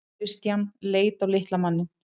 Christian leit á litla manninn.